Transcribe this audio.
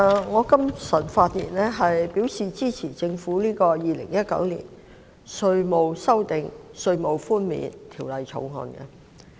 我今早發言支持政府《2019年稅務條例草案》。